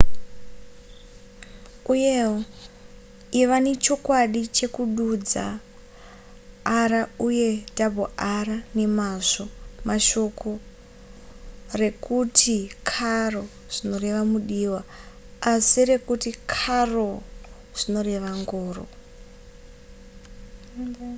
uyewo iva nechokwadi chekududza r uye rr nemazvo shoko rekuti caro zvinoreva mudiwa asi rekuti carro rinoreva ngoro